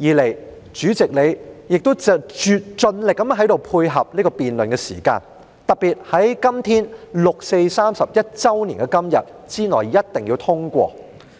二來，主席你亦在辯論的時間上盡力配合，特別是要在六四31周年的今天之內一定要通過。